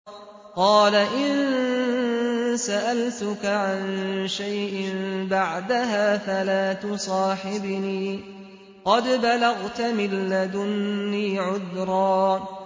قَالَ إِن سَأَلْتُكَ عَن شَيْءٍ بَعْدَهَا فَلَا تُصَاحِبْنِي ۖ قَدْ بَلَغْتَ مِن لَّدُنِّي عُذْرًا